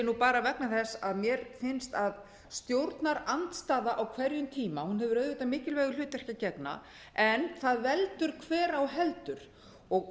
ég bara vegna þess að mér finnst að stjórnarandstaða á hverjum tíma hefur auðvitað mikilvægu hlutverki að gegna en hvað veldur hver á heldur og